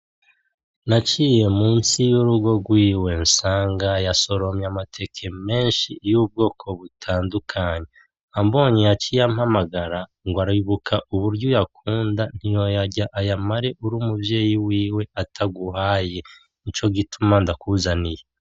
Naciye munsi yurigo rwiwe nsanga yasoromye amateke menshi y’ubwoko butandukanye ambonye yaciye ampamagara ngo aribuka uburyo uyakunda ntiyoyarya ayamare uri umuvyeyi wiwe ataguhaye nico gituma ndakuzaniye .